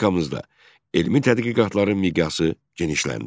Respublikamızda elmi tədqiqatların miqyası genişləndi.